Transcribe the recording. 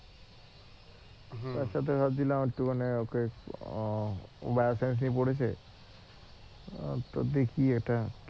তার সাথে ভাবছিলাম একটু মানে ওকে বায়োকেমিস্ট্রি পড়েছে তো দেখি এটা